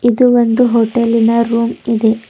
ಇದು ಒಂದು ಹೋಟೆಲಿ ನ ರೂಮ್ ಇದೆ.